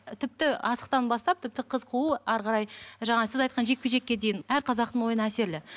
тіпті асықтан бастап тіпті қыз қуу әрі қарай жаңа сіз айтқан жекпе жекке дейін әр қазақтың ойыны әсерлі